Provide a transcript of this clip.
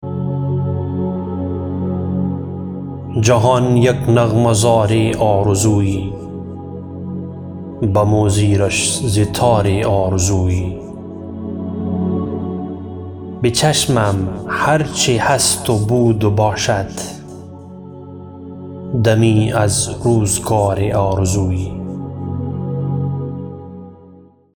جهان یک نغمه زار آرزویی بم و زیرش ز تار آرزویی به چشمم هر چه هست و بود و باشد دمی از روزگار آرزویی